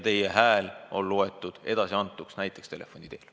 Teie hääle võib lugeda edasiantuks näiteks telefoni teel.